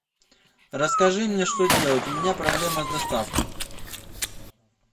расскажи мне что делать у меня проблема с доставкой